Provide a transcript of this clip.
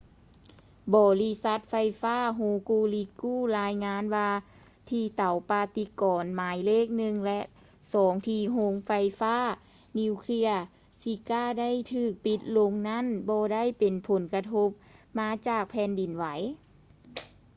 ບໍລິສັດໄຟຟ້າ hokuriku ລາຍງານວ່າທີ່ເຕົາປະຕິກອນໝາຍເລກ 1 ແລະ 2 ທີ່ໂຮງໄຟຟ້ານິວເຄຼຍ shika ໄດ້ຖືກປິດລົງນັ້ນບໍ່ໄດ້ເປັນຜົນກະທົບມາຈາກແຜ່ນດິນໄຫວ